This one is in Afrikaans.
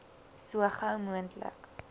so gou moontlik